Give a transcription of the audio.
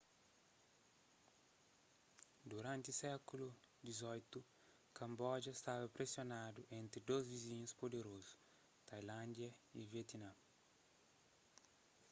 duranti sékulu xviii kamboja stada presionadu entri dôs vizinhus puderozu tailándia y vietname